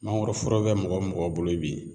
Mangoroforo bɛ mɔgɔ mɔgɔ bolo bi